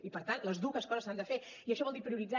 i per tant les dues coses s’han de fer i això vol dir prioritzar